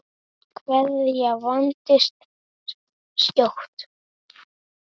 Kveðjan vandist skjótt.